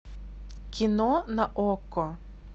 кино на окко